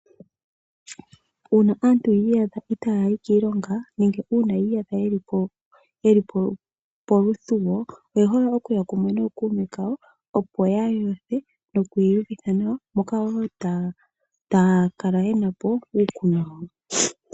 Uuna aantu yi iyadha itaa yi kiilonga nenge uuna yi iyadha ye li po yeli po poluthuwo, oye hole okuya kumwe nookuume kawo opo ya yothe, nokwii yuvitha nawa, moka wo taa, taa kala ye na po uukunwa wawo.